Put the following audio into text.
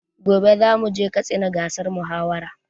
Gobe zamu je katsina gasar mahawara